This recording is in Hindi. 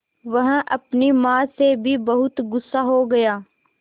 वह अपनी माँ से भी बहुत गु़स्सा हो गया